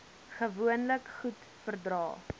gewoonlik goed verdra